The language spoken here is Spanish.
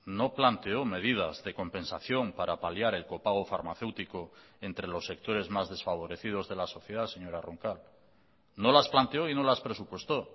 no planteó medidas de compensación para paliar el copago farmacéutico entre los sectores más desfavorecidos de la sociedad señora roncal no las planteó y no las presupuestó